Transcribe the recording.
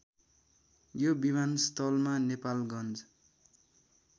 यो विमानस्थलमा नेपालगञ्ज